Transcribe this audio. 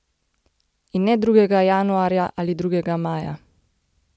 In ne drugega januarja ali drugega maja.